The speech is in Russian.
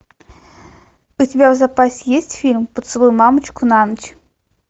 у тебя в запасе есть фильм поцелуй мамочку на ночь